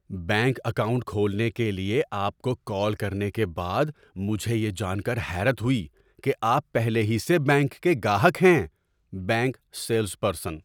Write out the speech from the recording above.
Bank account کھولنے کے لیے آپ کو کال کرنے کے بعد مجھے یہ جان کر حیرت ہوئی کہ آپ پہلے ہی سے بینک کے گاہک ہیں۔ (بینک سیلز پرسن)